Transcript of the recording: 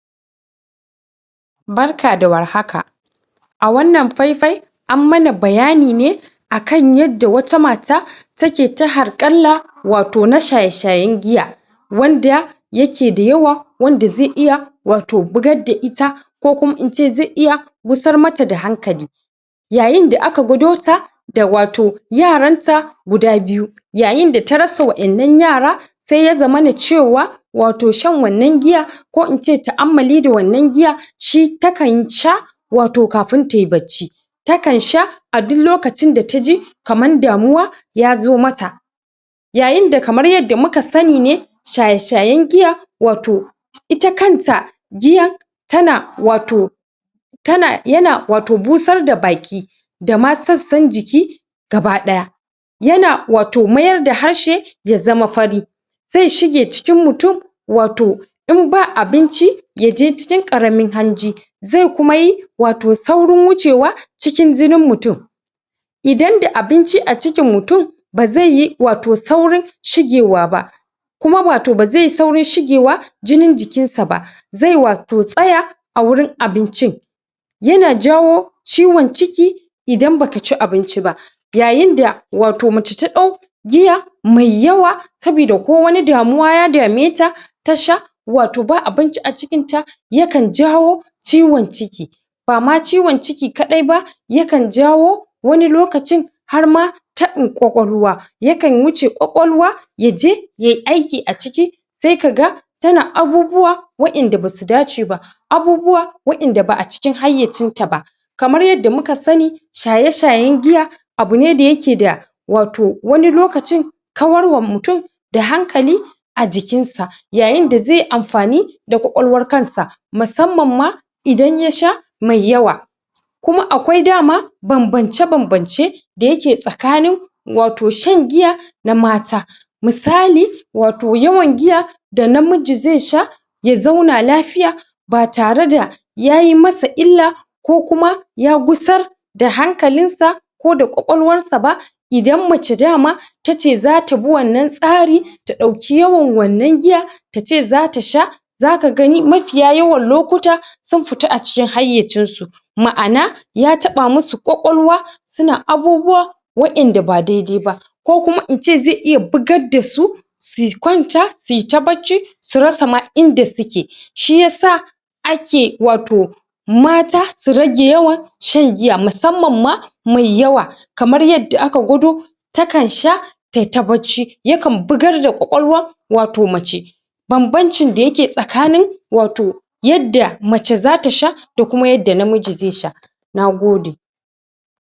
Barka da warhaka! A wanna fai-fai an mana bayani ne akan yadda wata mata take ta harƙalla, wato na shaye-shayen giya. Wanda ya ke da yawa wanda zai iya wato bugar da ita, ko kuma in ce zai iya gusar mata da hankali. Yayin da aka gwado ta, da wato yaran ta guda biyu. Yayin da ta rasa waƴannan yara, sai ya zamana cewa wato shan wannan giya, ko in ce ta'ammali da wannan giya, shi ta kan sha, wato kafin tayi bacci. Takan sha a duk lokacin da ta kaman damuwa ya zo ma ta. Yayin da kamar yadda muka sani ne shaye-shayen giya wato ita kanta giyan, ta na wato ta na, ya na wato busar da baki da ma sassan jiki gaba ɗaya. Ya na wato mayar da harshe ya zama fari. Zai shige cikin mutum wato in ba abinci ya je cikin ƙaramin hanji zai kuma yi wato saurin wucewa cikin jinin mutum. Idan da abinci a cikin mutum ba zai yi wato saurin shigewa ba. Kuma wato ba zai yi saurin shigewa jinin jikin sa ba, zai wato tsaya a wurin abincin. Ya na jawo ciwon cikin, idan baki ci abinci ba. Yayin da wato mace ta ɗau giya mai yawa, sabida ko wani damuwa ya dameta, ta sha wato ba abinci a cikinta, Yakan jawo ciwon ciki. Ba ma ciwon ciki kaɗai ba, yakan jawo wani lokacin har ma taɓin ƙwaƙwalwa. Yakan wuce ƙwaƙwalwa ya je yayi aiki a ciki sai ka ga ta na abubuwa waƴanda basu dace ba, abubuwa, waƴanda ba a cikin hayacin ta ba. Kamar yadda muka sani, shaye-shayen giya abu ne da ya ke da, wato wani lokacin kawarwa mutum da hankali, a jikinsa. Yayin da zai yi amfani da ƙwaƙwalwar kansa, musamman ma idan ya sha mai yawa. Kuma akwai dama bambance-bambance da ya tsakanin waton shan giya na mata. Misali wato yawan giya da namiji zai sha ya zauna lafiya ba tare da yayi masa illa ko kuma ya gusar da hankalinsa ko da ƙwaƙwalwarsa ba. Idan mace dama tace za ta bi wannan tsarin ta ɗauki yawan wannan giya tace za ta sha, za ka gani mafiya yawan lokuta sun fita a cikin hayacin su. Ma'an ya taɓa musu ƙwaƙwalwa su na abubuwa waƴanda ba dai-dai ba. Ko kuma in ce zai iya bugar dasu, su kwanta su yi ta bacci su rasa ma inda suke. Shi yasa ake wato mata su rage ywan shan giya musamman ma mai yawa, kamar yadda aka gwado ta kan sha tayi ta bacci, yakan bugar da ƙwaƙwalwar wato macce. Bam-bancin da yake tsakanin wato yadda mace za ta sha da kuma yadda namiji zai sha. Nagode!